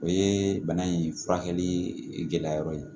O ye bana in furakɛli gɛlɛya yɔrɔ ye